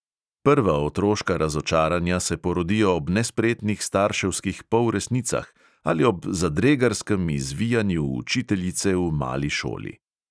Prva otroška razočaranja se porodijo ob nespretnih starševskih polresnicah ali ob zadregarskem izvijanju učiteljice v mali šoli.